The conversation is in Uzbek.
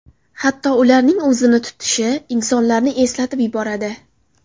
Hatto ularning o‘zini tutishi insonlarni eslatib yuboradi.